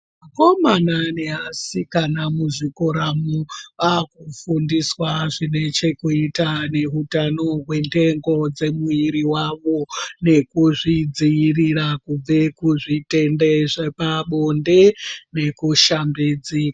Vakomana nevasikana muzvikora umu akufundiswa zvine chekuita nehutano Hwendengo dzemuviri dzawo nekuzvidzivirira kubva kuzvitenda zvepabonde nekushambidzika.